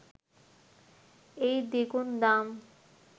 এই দ্বিগুণ দাম